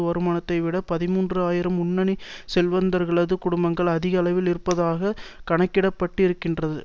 வருமானத்தை விட பதிமூன்று ஆயிரம் முன்னணி செல்வந்தர்களது குடும்பங்கள் அதிக அளவில் இருப்பதாக கணக்கிடப்பட்டிருக்கின்றது